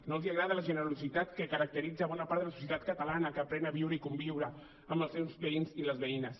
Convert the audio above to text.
no els agrada la generositat que caracteritza bona part de la societat catalana que aprèn a viure i conviure amb els seus veïns i les veïnes